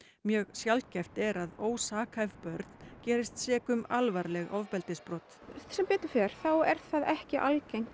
mjög sjaldgæft er að ósakhæf börn gerist sek um alvarleg ofbeldisbrot sem betur fer er það ekki algengt